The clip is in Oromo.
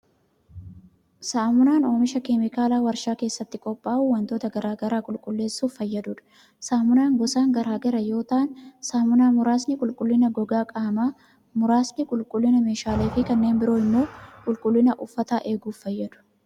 Saamunaan ,oomisha kemikaalaa warshaa keessatti qophaa'u wantoota garaa garaa qulqulleessuuf fayyaduu dha. Saamunaan gosaan garaa gara yoo ta'an, saamunaa muraasni qulqullina gogaa qaamaa, muraasni qulqullina meeshaalee fi kanneen biroo immoo qulqullina uffataa eeguuf fayyadu.